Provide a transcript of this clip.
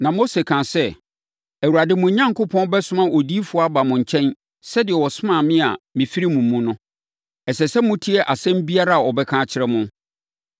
Na Mose kaa sɛ, ‘Awurade, mo Onyankopɔn bɛsoma odiyifoɔ aba mo nkyɛn sɛdeɛ ɔsomaa me a mefiri mo mu no. Ɛsɛ sɛ motie asɛm biara a ɔbɛka akyerɛ mo.